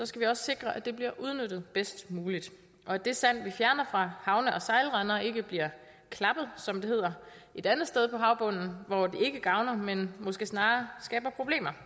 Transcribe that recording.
skal vi også sikre at det bliver udnyttet bedst muligt og at det sand vi fjerner fra havne og sejlrender ikke bliver klappet som det hedder et andet sted på havbunden hvor det ikke gavner men måske snarere skaber problemer